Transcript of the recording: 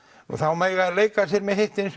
og þá mega þeir leika sér með hitt eins